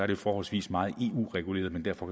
det forholdsvis meget eu reguleret men derfor